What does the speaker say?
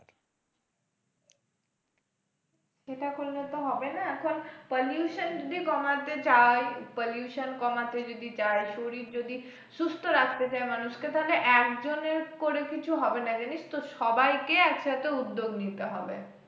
সেটা করলে তো হবে না সব pollution যদি কমাতে চাই pollution কমাতে যদি চাই, শরীর যদি সুস্থ রাখতে চায় মানুষকে তাহলে একজনের করে কিছু হবে না জানিস তো সবাইকে একসাথে উদ্যোগ নিতে হবে।